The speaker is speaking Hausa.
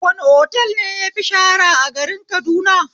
Wani otal ne yafi shahara a garin Kaduna?